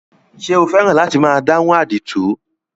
Ṣé o fẹ́ràn láti máa dáhùn àdìtú?